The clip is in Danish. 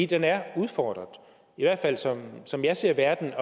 den er udfordret i hvert fald som som jeg ser verden